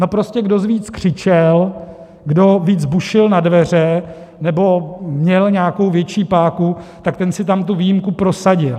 No prostě kdo víc křičel, kdo víc bušil na dveře nebo měl nějakou větší páku, tak ten si tam tu výjimku prosadil.